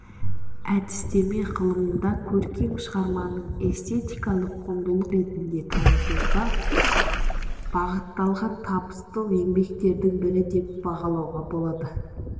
әдістеме ғылымында көркем шығарманы эстетикалық құндылық ретінде танытуға бағытталған табысты еңбектердің бірі деп бағалауға болады